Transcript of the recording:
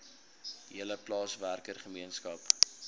hele plaaswerker gemeenskap